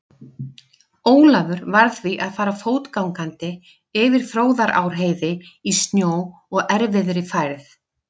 Ólafur varð því að fara fótgangandi yfir Fróðárheiði í snjó og erfiðri færð.